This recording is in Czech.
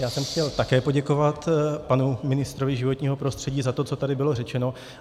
Já jsem chtěl také poděkovat panu ministrovi životního prostředí za to, co tady bylo řečeno.